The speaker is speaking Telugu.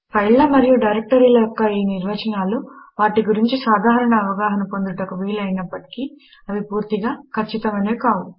ఫైళ్ళ మరియు డైరెక్టరీల యొక్క ఈ నిర్వచనాలు వాటి గురించి సాధారణ అవగాహన పొందుటకు వీలు అయినప్పటికీ అవి పూర్తిగా ఖచ్చితమైనవి కావు